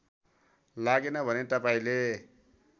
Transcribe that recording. लागेन भने तपाईँले